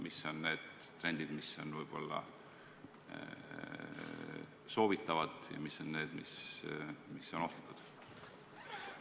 Mis on need trendid, mis on võib-olla soovitatavad, ja mis on need, mis on ohtlikud?